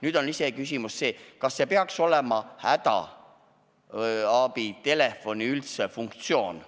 Nüüd on iseküsimus see, kas see peaks üldse olema hädaabitelefoni funktsioon.